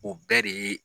O bɛɛ de ye